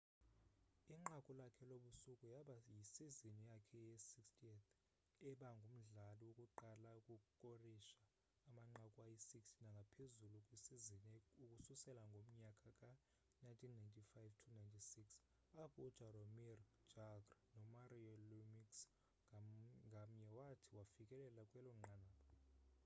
inqaku lakhe lobusuku yaba yisizini yakhe ye 60th ebangumdlali wokuqala ukukorisha amanqaku ayi 60 nangaphezulu kwisizini ukususela ngomnyaka ka 1995-96 apho u jaromir jagr no mario lemieux ngamnye wathi wafikelela kwelonqanaba